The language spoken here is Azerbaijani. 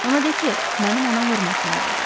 Ona de ki, mənim ona hörmətim vardır.